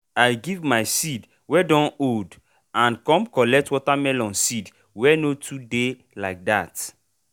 i give my seed wey don old and com collect watermelon seed wey no too dey like that.